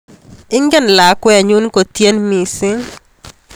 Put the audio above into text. Ingen lakwenyu kotien mising